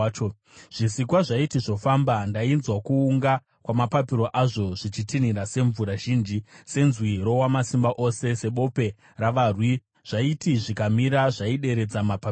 Zvisikwa zvaiti zvofamba, ndainzwa kuunga kwamapapiro azvo, zvichitinhira semvura zhinji, senzwi roWamasimba Ose, sebope ravarwi. Zvaiti zvikamira zvaideredza mapapiro azvo.